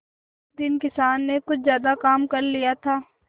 उस दिन किसान ने कुछ ज्यादा काम कर लिया था